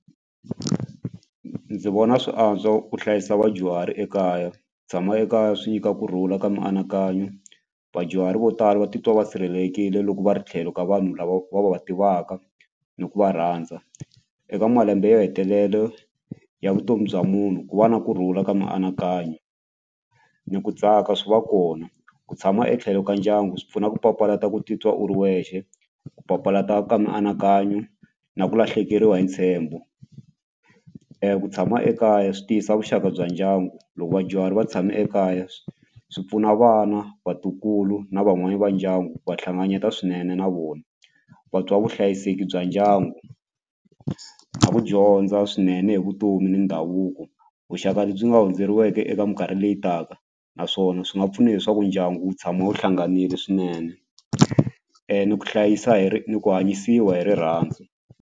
Ndzi vona swi antswa ku hlayisa vadyuhari ekaya tshama ekaya swi nyika kurhula ka mianakanyo vadyuhari vo tala va titwa va sirhelelekile loko va ri tlhelo ka vanhu lava va va va tivaka ni ku va rhandza eka malembe yo hetelele ya vutomi bya munhu ku va na kurhula ka mianakanyo ni ku tsaka swi va kona ku tshama etlhelo ka ndyangu swi pfuna ku papalata ku titwa u ri wexe ku papalata ka mianakanyo na ku lahlekeriwa hi ntshembo ku tshama ekaya swi tiyisa vuxaka bya ndyangu loko vadyuhari va tshame ekaya swi pfuna vana vatukulu na van'wani va ndyangu va hlanganyeta swinene na vona vatwa vuhlayiseki bya ndyangu na ku dyondza swinene hi vutomi ni ndhavuko vuxaka lebyi nga hundzeriweke eka minkarhi leyi taka naswona swi nga pfuna leswaku ndyangu wu tshama wu hlanganile swinene ni ku hlayisa hi ni ku hanyisiwa hi rirhandzu.